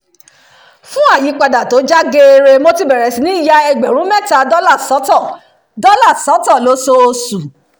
fún àyípadà tó já geere mo ti bẹ̀rẹ̀ sí ní ya ẹgbẹ̀rún mẹ́ta dollar sọ́tọ̀ dollar sọ́tọ̀ lóṣooṣù